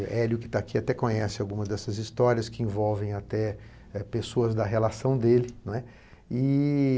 E Hélio, que está aqui, até conhece algumas dessas histórias que envolvem até pessoas da relação dele, não é? E